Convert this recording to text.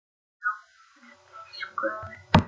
Jón biskup!